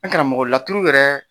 An karamɔgɔ laturu yɛrɛ